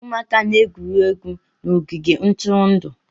Ụmụaka na-egwuri egwu n'ogige ntụrụndụ.